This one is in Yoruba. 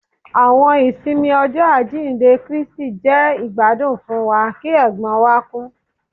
Àwọn ìsinmi Ọjọ ajinde Kristi jẹ igbadun fún wa ki ègbón wa ku